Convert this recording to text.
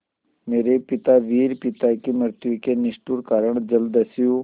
मेरे पिता वीर पिता की मृत्यु के निष्ठुर कारण जलदस्यु